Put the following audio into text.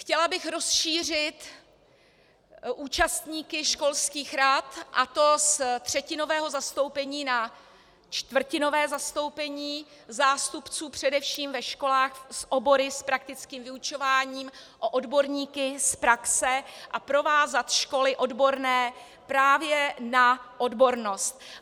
Chtěla bych rozšířit účastníky školských rad, a to z třetinového zastoupení na čtvrtinové zastoupení zástupců především ve školách s obory s praktickým vyučováním o odborníky z praxe a provázat školy odborné právě na odbornost.